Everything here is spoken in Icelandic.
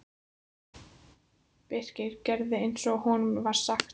Birkir gerði eins og honum var sagt.